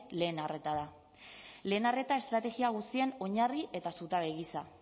lehen arreta da lehen arreta estrategia guztien oinarri eta zutabe gisa